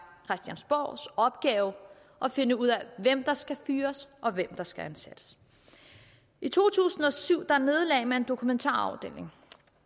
christiansborgs opgave at finde ud af hvem der skal fyres og hvem der skal ansættes i to tusind og syv nedlagde man dokumentarafdelingen